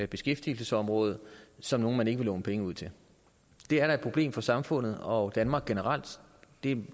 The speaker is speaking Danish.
beskæftigelsesområder som nogle man ikke vil låne penge ud til det er da et problem for samfundet og danmark generelt og en